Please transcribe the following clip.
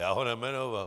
Já ho nejmenoval.